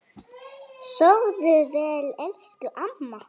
Sofðu vel, elsku amma.